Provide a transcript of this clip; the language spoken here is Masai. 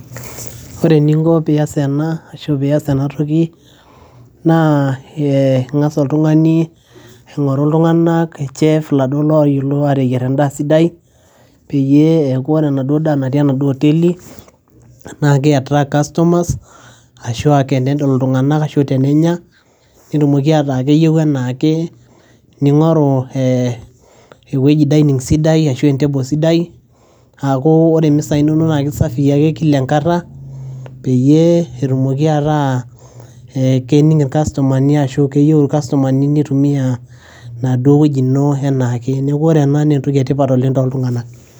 ore eninko piyas ena ashu piyas enatoki naa ee ing'as oltung'ani aing'oru iltung'anak chef laduo loyiolo ateyierr endaa sidai peyie eeku ore enaduo daa natii enaduo oteli naa kei attract customers ashua kenedol iltung'anak ashua tenenya netumoki ataa keyieu anaake ning'oru eh ewueji dining sidai ashu en table sidai aaku ore imisai inonok naa kisafii ake kila enkata peyie etumoki ataa eh kening irkastomani ashu keyieu irkastomani nitumia enaduo wueji ino enaake neeku ore ena naa entoki etipat oleng toltung'anak.